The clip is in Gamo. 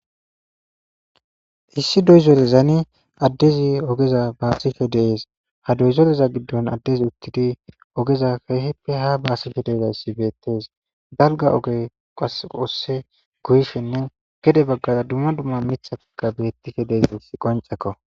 issi doyzorezani addezi ogeza baasike dees ha doyzoleza giddon addezi uttidi ogeza keehippe ha baasike deezayssi beettes dalga oge qasqoosse guyshenne gede baggara dumma dumma mithataka bettike deez qoncakko